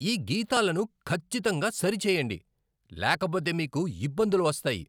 ఈ గీతాలను ఖచ్చితంగా సరిచేయండి, లేకపోతే మీకు ఇబ్బందులు వస్తాయి!